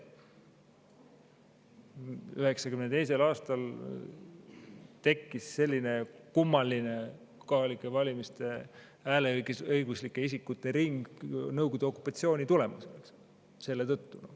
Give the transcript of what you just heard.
1992. aastal tekkis selline kummaline kohalikel valimistel hääleõiguslike isikute ring Nõukogude okupatsiooni tõttu.